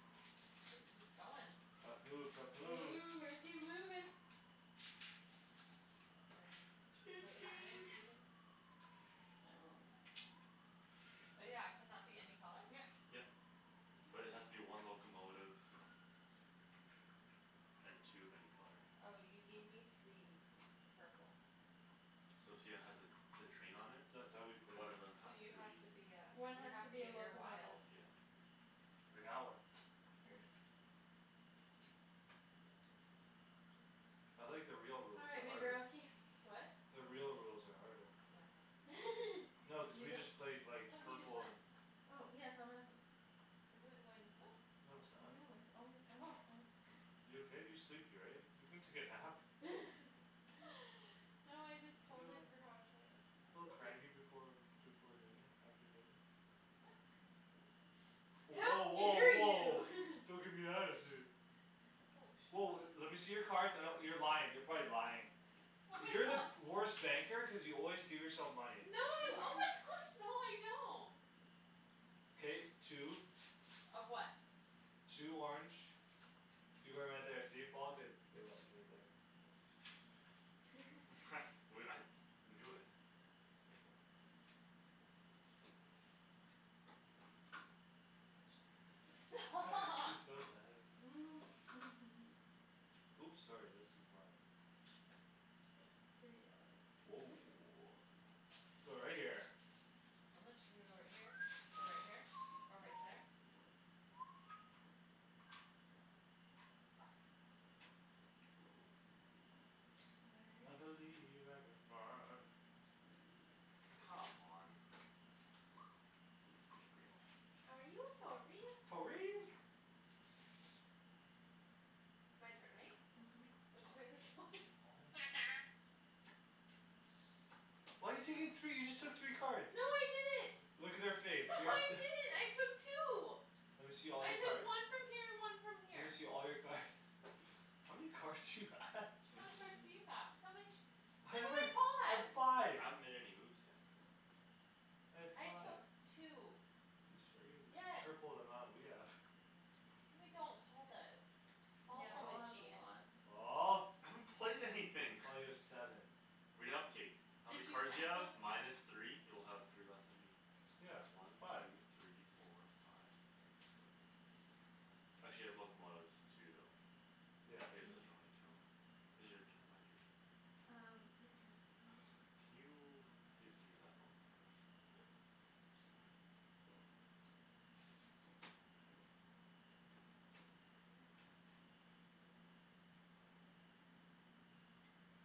shoot he's going tough move tough move ooh where's he moving right choo here wait how many choo do you oh yeah can that be any color yep yep but it has to be one locomotive and two of any color oh you gave me three purple So see how it has a the train on it that's how we play one of them so has you to have be to be ah one you has to have to be a give your locomotive wild yeah like that one perfect I like the real all rules right they're my harder girlsky what the real rules are harder yeah no cuz did you we just go played like no he just purple went and oh yeah so I'm asking isn't it going this way? no no it's not it's always gone oh this way you okay you're sleepy right you can take a nap no I just totally forgot which way it was a little going cranky before before dinner after dinner I'm not cranky how woah woah dare woah you don't gimme attitude oh woah le- shit lemme see your cards I d- you're lying you're probably lying oh my you're the gosh worst banker cuz you always give yourself No. money Oh my gosh! No, no, I don't. K, two. Of what? Two orange. You're going right there. See Paul, good. I knew it. Stop. She's so mad at Oops, sorry. This is mine. Three yellow. Woah, going right there. I'm not su- Should I go right here? Or right here? Or right there? I believe I Come on. Are you for real? Are you for For real real? My turn, right? Mhm. Which way are we going? Oh, my goodness. Why you taking three? You just took three No, cards. I didn't. Look at her face No, I didn't, I took two. Lemme see all I your took cards. one from here and one from Lemme see here. all your card How many cards do you have? How many cards do you have? How many? Hey, wait, I have five. I haven't made any moves yet. I have I five. took two. You sure you the t- Yes. triple the amount we have No, I don't. Paul does. Paul's Yeah, Paul Paul, probably has a cheatin'. lot. Paul. I haven't played anything Well, you have seven. Read out, okay. How many Did you cards do you count have? them? Minus three? You'll have three less than me. Yeah, One, five. two, three, four, five Six, seven, eight, nine. actually I have locomotives too though. Yeah, I guess true. I Hmm should only count Is it your turn or my turn? Um, your turn I God, just went. can you please give me that locomotive. Mhm. Thank you.